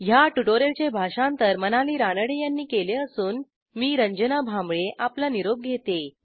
ह्या ट्युटोरियलचे भाषांतर मनाली रानडे यांनी केले असून मी रंजना भांबळे आपला निरोप घेते160